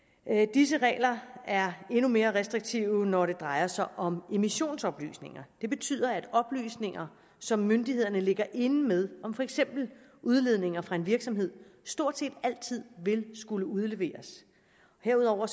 disse regler er endnu mere restriktive når det drejer sig om emissionsoplysninger det betyder at oplysninger som myndighederne ligger inde med om for eksempel udledninger fra en virksomhed stort set altid vil skulle udleveres herudover